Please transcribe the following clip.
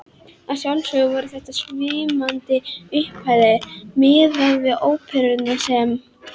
Að sjálfsögðu voru þetta svimandi upphæðir miðað við óveruna sem